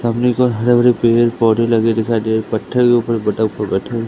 सामने को हरे भरे पेड़ पौधे लगे दिखाई दे रहे हैं।